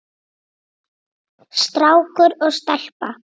Strákur og stelpa.